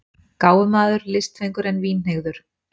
Gáfumaður, listfengur, en vínhneigður.